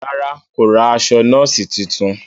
Ràrá, kò ra aṣọ nọọsi tuntun